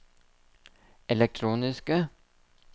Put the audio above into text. elektroniske